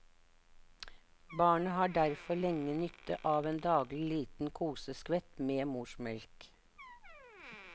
Barnet har derfor lenge nytte av en daglig liten koseskvett med morsmelk.